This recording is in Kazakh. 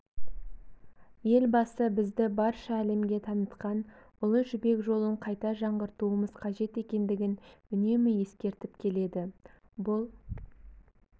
елбасы бізді барша әлемге танытқан ұлы жібек жолын қайта жаңғыртуымыз қажет екендігін үнемі ескертіп келеді бұл